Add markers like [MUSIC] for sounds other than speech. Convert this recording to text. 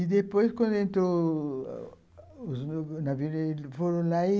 E depois, quando entrou [UNINTELLIGIBLE] os navios foram lá e...